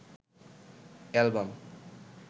album